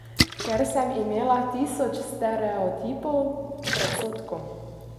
Ker sem imela tisoč stereotipov, predsodkov.